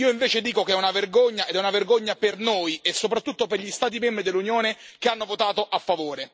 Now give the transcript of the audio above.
Io invece dico che è una vergogna, ed è una vergogna per noi, e soprattutto per gli Stati membri dell'Unione che hanno votato a favore.